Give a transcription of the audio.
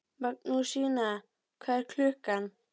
Magnúsína, hvað er klukkan?